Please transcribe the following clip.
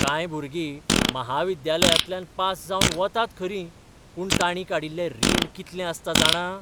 कांय भुरगीं म्हाविद्यालयांतल्यान पास जावन वतात खरीं, पूण ताणीं काडिल्लें रीण कितलें आसता जाणा?